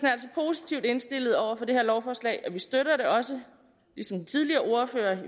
positivt indstillet over for det her lovforslag og vi støtter det også ligesom den tidligere ordfører